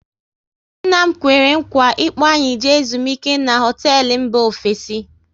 Nna m kwere nkwa ị kpo anyị jee ezumike n'hotelu mba ofesi